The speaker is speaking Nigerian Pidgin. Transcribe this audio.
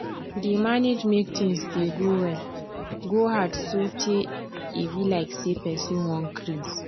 to dey manage make tins dey go well go hard so tey e be like say person wan crase